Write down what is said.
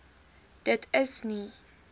dit is nie